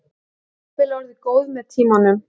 Jafnvel orðið góð með tímanum.